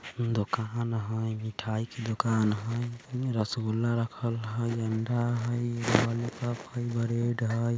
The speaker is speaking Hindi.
दुकान हई मिठाई की दुकान हईरसगुल्ला रखल हई अंडा हई ब्रेड हई।